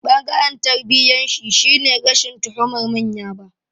Ɓangaren tarbiyyarshi shine rashin tuhumar manya ba.